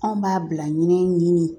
Anw b'a bila minɛn ɲini